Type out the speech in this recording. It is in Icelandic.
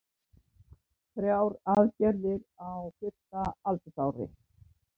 Þrjár aðgerðir á fyrsta aldursári